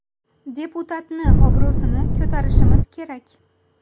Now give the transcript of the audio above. Deputatni obro‘sini ko‘tarishimiz kerak.